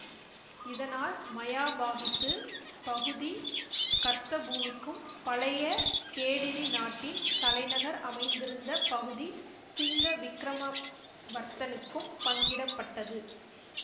இதனால் மயாபாகித்து பகுதி கர்த்தபூமிக்கும் பழைய கேடிரி நாட்டின் தலைநகர் அமைந்திருந்த பகுதி சிங்கவிக்கிரம வர்த்தனுக்கும் பங்கிடப்பட்டது